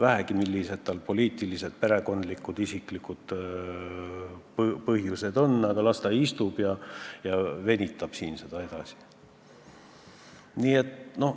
Olgu tal millised tahes poliitilised, perekondlikud, muud isiklikud põhjused – las ta istub siin ja venitab seda aega edasi.